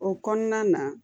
O kɔnɔna na